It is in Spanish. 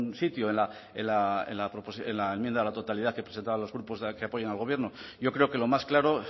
sitio en la enmienda a la totalidad que presentaban los grupos que apoyan al gobierno yo creo que lo más claro